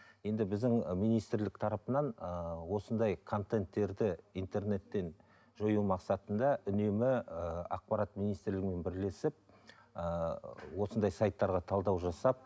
енді біздің министрлік тарапынан ыыы осындай контенттерді интернеттен жою мақсатында үнемі ыыы ақпарат министрлігімен бірлесіп ыыы осындай сайттарға талдау жасап